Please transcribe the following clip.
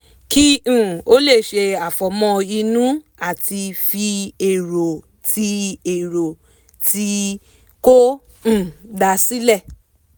kí um ó lè ṣe àfọ̀mọ́ inú àti fi èrò tí èrò tí kò um dáa sílẹ̀